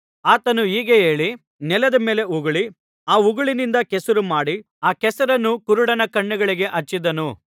ಆತನು ಹೀಗೆ ಹೇಳಿ ನೆಲದ ಮೇಲೆ ಉಗುಳಿ ಆ ಉಗುಳಿನಿಂದ ಕೆಸರು ಮಾಡಿ ಆ ಕೆಸರನ್ನು ಕುರುಡನ ಕಣ್ಣುಗಳಿಗೆ ಹಚ್ಚಿದನು